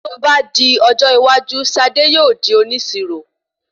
Tí o bá di ọjọ́ iwájú Sade yóò di onísirò